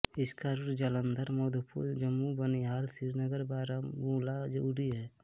इसका रूट जालंधर माधोपुर जम्मू बनिहाल श्रीनगर बारामूला उरी है